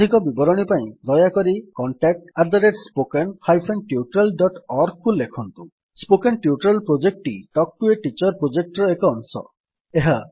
ଅଧିକ ବିବରଣୀ ପାଇଁ ଦୟାକରି contactspoken tutorialorg କୁ ଲେଖନ୍ତୁ ସ୍ପୋକନ୍ ଟ୍ୟୁଟୋରିଆଲ୍ ପ୍ରୋଜେକ୍ଟଟି Talk to a Teacher project ର ଏକ ଅଂଶ